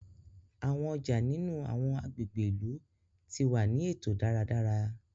Awọn ọja nínú awọn agbègbè ìlú ti wá ni eto dáradára